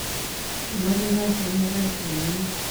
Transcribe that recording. Kimache kasit neraisi en emet